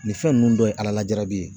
Nin fɛn nunnu dɔ ye ala lajarabi ye.